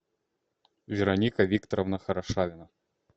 вероника викторовна хорошавина